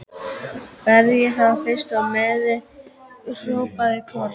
Berjið þá fyrst og meiðið, hrópaði Kort.